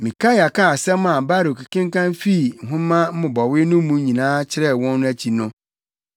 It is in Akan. Mikaia kaa nsɛm a Baruk kenkan fii nhoma mmobɔwee no mu nyinaa kyerɛɛ wɔn no akyi no,